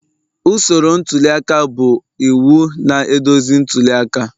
Usoro ntuli aka bụ iwu na-eduzi ntuli aka